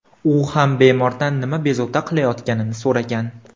U ham bemordan nima bezovta qilayotganini so‘ragan.